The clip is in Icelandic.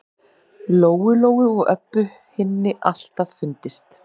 Lóu-Lóu og Öbbu hinni alltaf fundist.